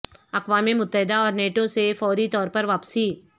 اقوام متحدہ اور نیٹو سے فوری طور پر واپسی